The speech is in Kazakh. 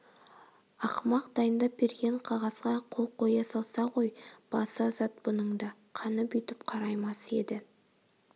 ақымақ дайындап берген қағазға қол қоя салса ғой басы азат бұның да қаны бүйтіп қараймас еді